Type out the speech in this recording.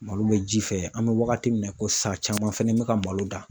Malo bɛ ji fɛ an bɛ wagati min na i ko sisan caman fɛnɛ bɛ ka malo dan